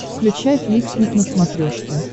включай фликснип на смотрешке